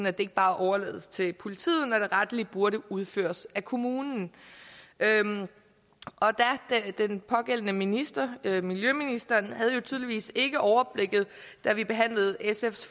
at det ikke bare overlades til politiet når det rettelig burde udføres af kommunen og den pågældende minister miljøministeren havde jo tydeligvis ikke overblikket da vi behandlede sfs